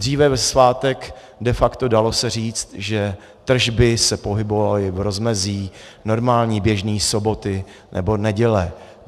Dříve ve svátek de facto dalo se říct, že tržby se pohybovaly v rozmezí normálně běžné soboty nebo neděle.